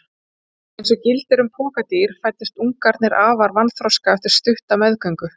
Eins og gildir um pokadýr fæddust ungarnir afar vanþroska eftir stutta meðgöngu.